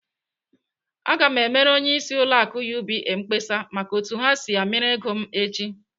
Aga m emere onyeisi ụlọ akụ UBA mkpesa maka otu ha si amịrị ego m echi!